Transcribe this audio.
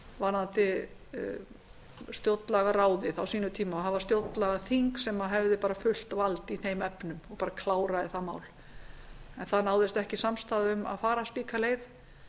varðandi stjórnlagaráðið á sínum tíma og hafa stjórnlagaþing sem hefði fullt vald í þeim efnum og klára þetta mál en það náðist ekki samstaða um að fara slíka leið